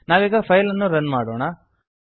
ನಾವೀಗ ಫೈಲನ್ನು ರನ್ ಮಾಡೋಣ